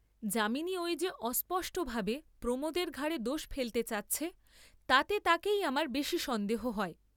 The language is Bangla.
যামিনী ঐ যে অস্পষ্ট ভাবে প্রমোদের ঘাড়ে দোষ ফেলতে চাচ্ছে, তাতে তাকেই আমার বেশী সন্দেহ হয়।